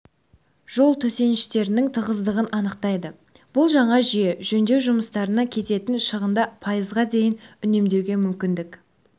жол төсеніштерінің тығыздығын анықтайды бұл жаңа жүйе жөндеу жұмыстарына кететін шығынды пайызға дейін үнемдеуге мүмкіндік